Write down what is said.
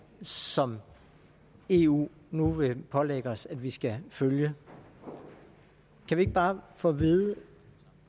som eu nu vil pålægge os at vi skal følge kan vi ikke bare få at vide